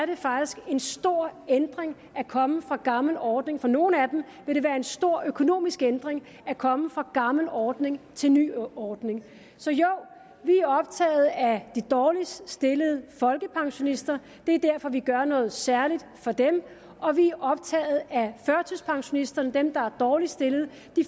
det faktisk en stor ændring at komme fra gammel ordning for nogle af dem vil det være en stor økonomisk ændring at komme fra gammel ordning til ny ordning så jo vi er optaget af de dårligst stillede folkepensionister det er derfor vi gør noget særligt for dem og vi er optaget af førtidspensionisterne dem der er dårligst stillede